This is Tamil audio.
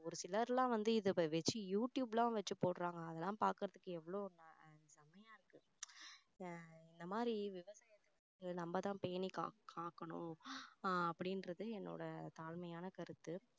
ஒரு சிலர்லாம் வந்து இதை வச்சி யூடுயூப்லாம் வச்சி போடுறாங்க அதெல்லாம் பார்க்கிறதுக்கு எவ்வளோ செமையா இருக்கு இந்த இந்த மாதிரி விவசாயத்தை நம்ம தான் பேணி காக்~ காக்கணும் அஹ் அப்படின்றது என்னோட தாழ்மையான கருத்து